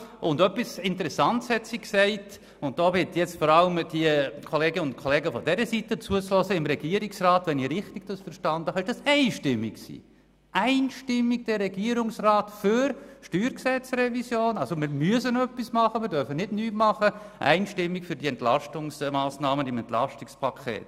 Sie hat etwas Interessantes erwähnt, und da bitte ich vor allem die Kollegen von dieser Seite zuzuhören Wenn ich es richtig verstanden habe, ist der Beschluss zur StG-Revision seitens im Regierungsrat einstimmig ausgefallen – Einstimmigkeit im Regierungsrat für die StG-Revision und ebenfalls Einstimmigkeit für das EP.